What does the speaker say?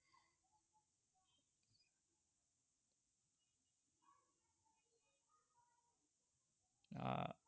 আহ